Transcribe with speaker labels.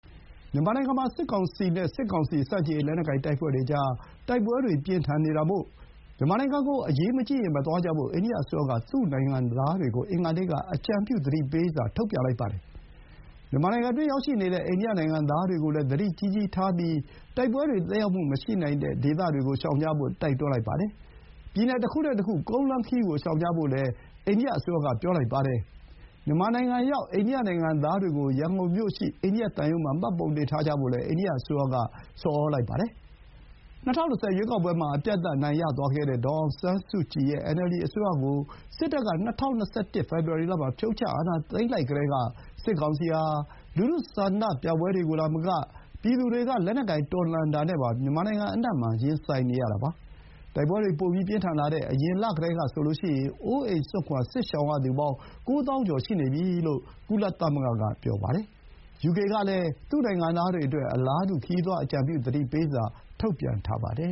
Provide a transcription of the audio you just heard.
Speaker 1: မြန်မာနိုင်ငံမှာ စစ်ကောင်စီနဲ့ စစ်ကောင်စီဆန့်ကျင်ရေး လက်နက်ကိုင်တပ်ဖွဲ့တွေကြား တိုက်ပွဲတွေပြင်းထန်နေတာမို့ မြန်မာနိုင်ငံကို အရေးမကြီးရင် မသွားကြဖို့ အိန္ဒိယအစိုးရက သူ့ နိုင်ငံသားတွေကို အင်္ဂါနေ့ကအကြံပြု သတိပေးစာ ထုတ်ပြန်လိုက်ပါတယ်။ မြန်မာနိုင်ငံတွင်းရောက်နေပြီးသား အိန္ဒိယနိုင်ငံသားတွေအနေနဲ့လည်း သတိကြီးကြီးထားပြီး တိုက်ပွဲတွေသက်ရောက်မှုရှိတဲ့ဒေသတွေကို ရှောင်ကြဖို့ တိုက်တွန်းလိုက်ပါတယ်။ ပြည်နယ်တခုနဲ့တခု ကုန်းလမ်းခရီးကိုရှောင်ကြဖို့လည်း အိန္ဒိယအစိုးရက ပြောလိုက်ပါတယ်။ မြန်မာနိုင်ငံရောက် အိန္ဒိယနိုင်ငံသားတွေကို ရန်ကုန်မြို့ရှိ အိန္ဒိယသံရုံးမှာ မှတ်ပုံတင်ထားကြဖို့လည်း အိန္ဒိယအစိုးရက တောင်းဆိုလိုက်ပါတယ်။ ၂၀၂၀ ရွေးကောက်ပွဲမှာ အပြတ်အသတ် အနိုင်ရသွားတဲ့ ဒေါ်အောင်ဆန်းစုကြည်ရဲ့ NLD အစိုးရကို စစ်တပ်က ၂၀၂၁ ဖေဖော်ဝါရီလမှာ အာဏာသိမ်းလိုက်ကတည်းက စစ်ကောင်စီဟာ လူထု ဆန္ဒပြပွဲတွေကိုသာမက ပြည်သူတွေက လက်နက်ကိုင်တော်လှန်တာနဲ့ပါ မြန်မာနိုင်ငံအနှံ့မှာ ရင်ဆိုင်နေရတာပါ။ တိုက်ပွဲတွေ ပိုပြင်းထန်လာတဲ့ အရင်လကတည်းကဆိုရင် အိုးအိမ်စွန့်ခွါ စစ်ရှောင်ရသူပေါင်း ၉ သောင်းကျော်ရှိနေပြီလို့ ကုလသမဂ္ဂက ပြောပါတယ်။ ယူကေကလည်း သူ့ နိုင်ငံသားတွေအတွက် အလားတူ ခရီးသွားအကြံပြုသတိပေးစာ ထုတ်ပြန်ထားပါတယ